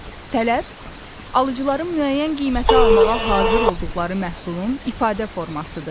Tələb alıcıların müəyyən qiymətə almağa hazır olduqları məhsulun ifadə formasıdır.